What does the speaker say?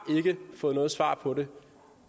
ikke fået noget svar på det